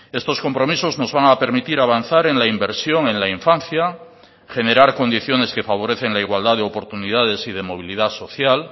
estos compromisos nos van a permitir avanzar en la inversión en la infancia generar condiciones que favorecen la igualdad de oportunidades y de movilidad social